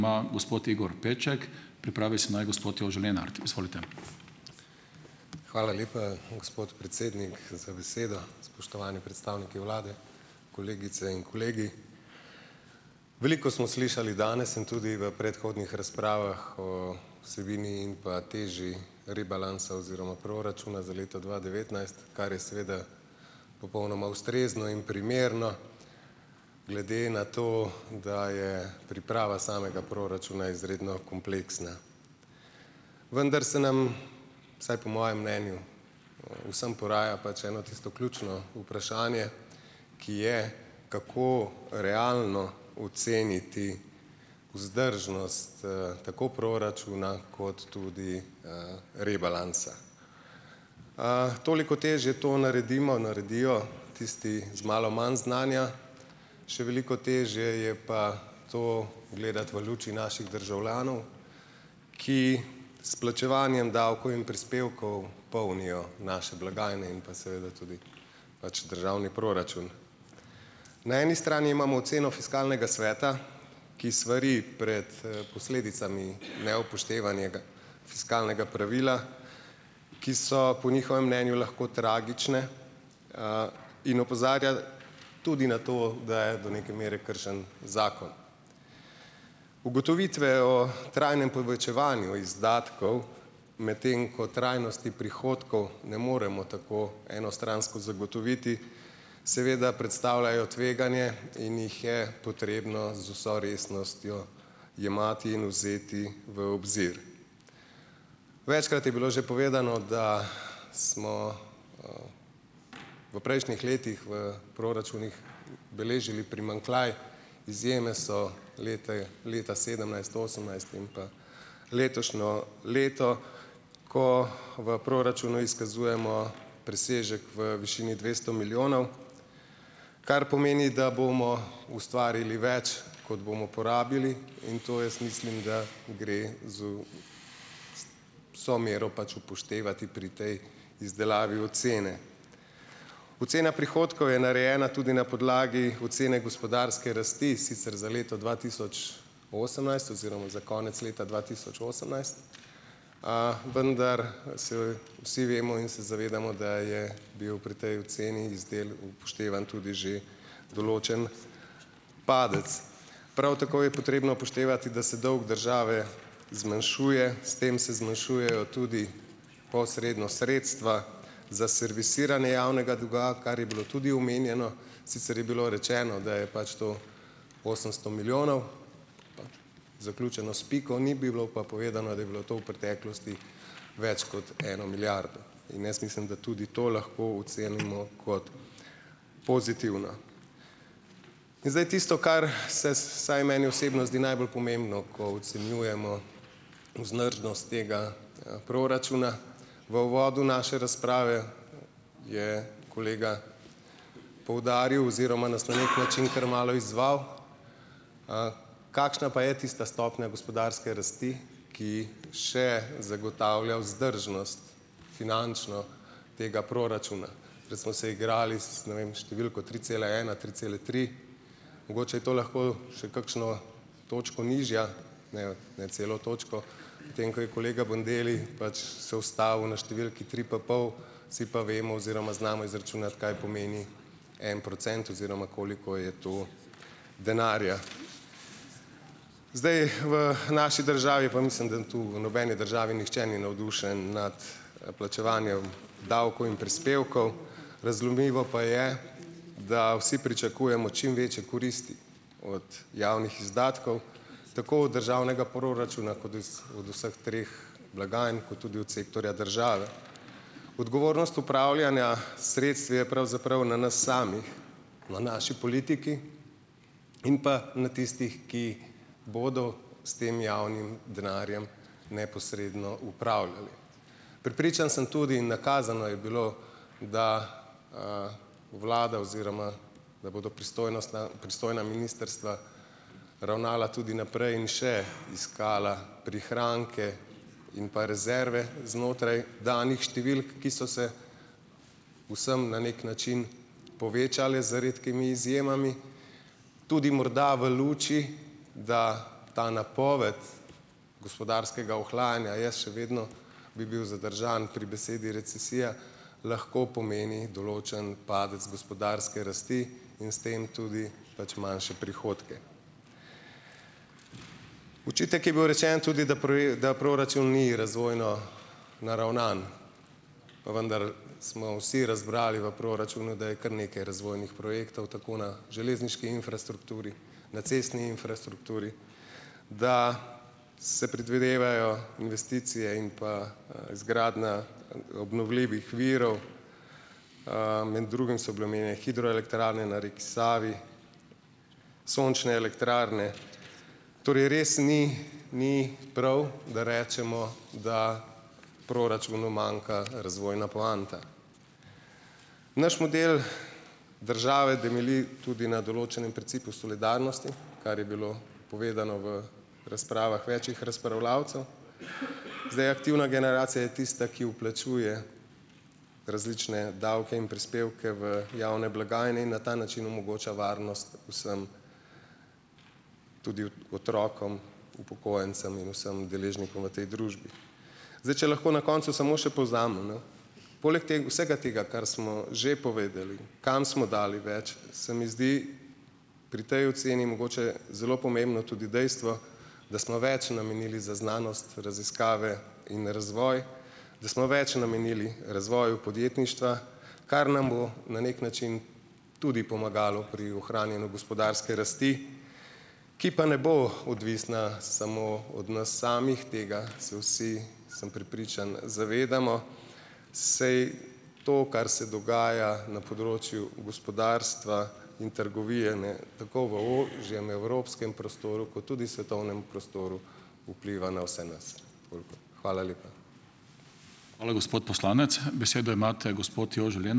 Hvala lepa, gospod predsednik, za besedo. Spoštovani predstavniki vlade, kolegice in kolegi! Veliko smo slišali danes in tudi v predhodnih razpravah o vsebini in pa teži rebalansa oziroma proračuna za leto dva devetnajst, kar je seveda popolnoma ustrezno in primerno glede na to, da je priprava samega proračuna izredno kompleksna. Vendar se nam, vsaj po mojem mnenju, vsem poraja pač eno tisto ključno vprašanje, ki je, kako realno oceniti vzdržnost, tako proračuna kot tudi, rebalansa. Toliko težje to naredimo, naredijo tisti z malo manj znanja, še veliko težje je pa to gledati v luči naših državljanov, ki s plačevanjem davkov in prispevkov polnijo naše blagajne in pa seveda tudi pač državni proračun. Na eni strani imamo oceno fiskalnega sveta, ki svari pred, posledicami neupoštevanega fiskalnega pravila, ki so po njihovem mnenju lahko tragične, in opozarja tudi na to, da je do neke mere kršen zakon. Ugotovitve o trajnem povečevanju izdatkov, medtem ko trajnosti prihodkov ne moremo tako enostransko zagotoviti, seveda predstavljajo tveganje in jih je potrebno z vso resnostjo jemati in vzeti v obzir. Večkrat je bilo že povedano, da smo v prejšnjih letih v proračunih beležili primanjkljaj. Izjeme so leta leta sedemnajst, osemnajst in pa letošnje leto, ko v proračunu izkazujemo presežek v višini dvesto milijonov. Kar pomeni, da bomo ustvarili več, kot bomo porabili, in to, jaz mislim, da gre z vso mero pač upoštevati pri tej izdelavi ocene. Ocena prihodkov je narejena tudi na podlagi ocene gospodarske rasti, sicer za leto dva tisoč osemnajst oziroma za konec leta dva tisoč osemnajst, vendar se vsi vemo in se zavedamo, da je bil pri tej oceni iz del upoštevan tudi že določen padec. Prav tako je potrebno upoštevati, da se dolg države zmanjšuje, s tem se zmanjšujejo tudi posredno sredstva za servisiranje javnega dolga, kar je bilo tudi omenjeno, sicer je bilo rečeno, da je pač to osemsto milijonov, zaključeno s piko, ni bilo pa povedano, da je bilo to v preteklosti več kot eno milijardo. In jaz mislim, da tudi to lahko ocenimo kot pozitivna. In zdaj tisto, kar se vsaj meni osebno zdi najbolj pomembno, ko ocenjujemo vzdržnost tega, proračuna. V uvodu naše razprave je kolega poudaril oziroma nas na neki način kar malo izzval - kakšna pa je tista stopnja gospodarske rasti, ki še zagotavlja vzdržnost finančno tega proračuna. Prej smo se igrali s, ne vem, številko tri cela ena, tri cele tri, mogoče je to lahko še kakšno točko nižja, ne, ne celo točko, medtem ko je kolega Bandelli pač se ustavil na številki tri pa pol, vsi pa vemo oziroma znamo izračunati, kaj pomeni en procent oziroma koliko je to denarja. Zdaj, v naši državi - pa mislim, da tu v nobeni državi nihče ni navdušen nad, plačevanjem davkov in prispevkov. Razumljivo pa je, da vsi pričakujemo čim večje koristi od javnih izdatkov, tako od državnega proračuna, od vseh treh blagajn kot tudi od sektorja države. Odgovornost upravljanja s sredstvi je pravzaprav na nas samih, v naši politiki in pa na tistih, ki bodo s tem javnim denarjem neposredno upravljali. Prepričan sem tudi, nakazano je bilo, da vlada oziroma da bodo pristojna pristojna ministrstva ravnala tudi naprej in še iskala prihranke in pa rezerve znotraj danih številk, ki so se vsem na neki način povečale, z redkimi izjemami. Tudi morda v luči, da ta napoved gospodarskega ohlajanja, jaz še vedno bi bil zadržan pri besedi recesija, lahko pomeni določen padec gospodarske rasti in s tem tudi pač manjše prihodke. Očitek je bil rečen tudi, da da proračun ni razvojno naravnan. Pa vendar smo vsi razbrali v proračunu, da je kar nekaj razvojnih projektov tako na železniški infrastrukturi, na cestni infrastrukturi, da se predvidevajo investicije in pa, izgradnja, obnovljivih virov, med drugim so bile omejene hidroelektrarne na reki Savi, sončne elektrarne. Torej, res ni ni prav, da rečemo, da proračunu manjka razvojna poanta. Naš model države temelji tudi na določenem principu solidarnosti, kar je bilo povedano v razpravah večih razpravljavcev. Aktivna generacija je tista, ki vplačuje različne davke in prispevke v javne blagajne in na ta način omogoča varnost vsem, tudi otrokom, upokojencem in vsem deležnikom v tej družbi. Zdaj, če lahko na koncu samo še povzamemo, poleg vsega tega, kar smo že povedali, kam smo dali več, se mi zdi pri tej oceni mogoče zelo pomembno tudi dejstvo, da smo več namenili za znanost, raziskave in razvoj. Da smo več namenili razvoju podjetništva, kar nam bo na neki način tudi pomagalo pri ohranjanju gospodarske rasti, ki pa ne bo odvisna samo od nas samih, tega se vsi, sem prepričan, zavedamo, saj to, kar se dogaja na področju gospodarstva in trgovine tako v ožjem evropskem prostoru, ki tudi svetovnem prostoru vpliva na vse nas. Hvala lepa.